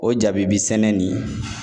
O jabibi sɛnɛ nin